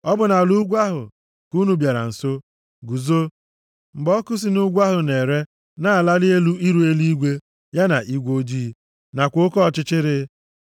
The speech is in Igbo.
Ọ bụ nʼala ugwu ahụ ka unu bịara nso, guzo, mgbe ọkụ si nʼugwu ahụ na-ere, na-alali elu iru eluigwe, ya na igwe ojii + 4:11 Maọbụ, anwụrụ ọkụ dị oji nakwa oke ọchịchịrị.